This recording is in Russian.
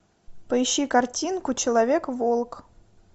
поищи картинку человек волк